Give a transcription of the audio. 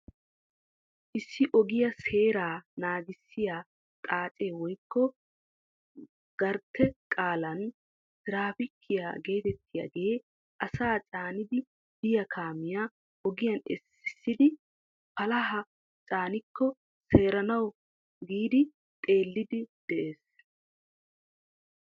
Issi ogiyaa seeraa nanggisiyaa xaacee woykko gartte qaalan tiraapiikiyaa getettiyaagee asaa caanidi biyaa kaamiyaa ogiyaan essiisidi palahaa caaniko seeranawu giidi xeelliidi de'ees.